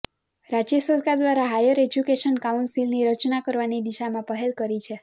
રાજય સરકાર દ્વારા હાયર એજ્યુકેશન કાઉન્સીલની રચના કરવાની દિશામાં પહેલ કરી છે